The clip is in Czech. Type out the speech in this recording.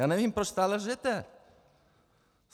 Já nevím, proč stále lžete.